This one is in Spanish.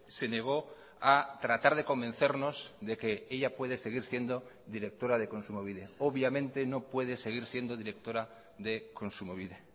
se negó a tratar de convencernos de que ella puede seguir siendo directora de kontsumobide obviamente no puede seguir siendo directora de kontsumobide